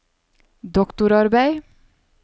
doktorarbeidet